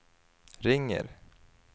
ringer